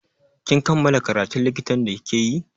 Kin kammala karatun likitan da like yi?